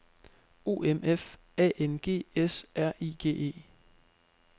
O M F A N G S R I G E